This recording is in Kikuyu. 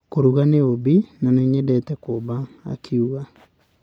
Kũruga nĩ ũũmbi, na nĩ nyendete kũũmba, akiuga.